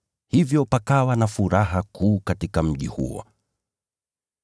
Hivyo pakawa na furaha kuu katika mji huo.